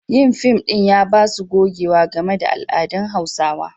Yin fim ɗin ya ba su gogewa game da al'adun Hausawa.